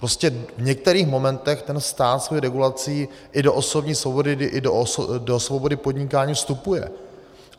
Prostě v některých momentech ten stát svou regulací i do osobní svobody i do svobody podnikání vstupuje.